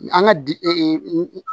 An ka di